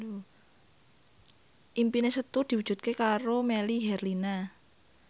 impine Setu diwujudke karo Melly Herlina